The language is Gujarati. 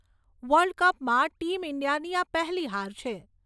વર્લ્ડ કપમાં ટીમ ઇન્ડિયાની આ પહેલી હાર છે.